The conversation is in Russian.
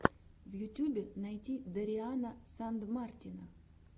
в ютюбе найти дариана сандмартина